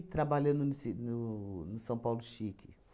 trabalhando no Ci no no São Paulo Chique.